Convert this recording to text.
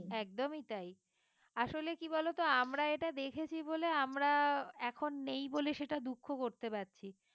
একদমই তাই আসলে কি বলোতো আমরা এটা দেখেছি বলে আমরা এখন নেই বলে সেটা দুঃখ করতে পারছি